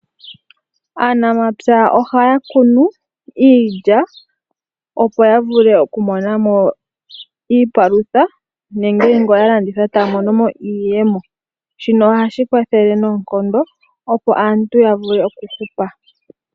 Aanamapya ohaya kunu iilya opo ya vule oku mona iipalutha nenge ya mone iiyemo uuna ya landitha. Shino ohashi kwathele noonkondo opo aantu ya vule oku hupa.